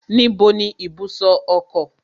Níbo ni ibùsọ̀ ọkọ̀?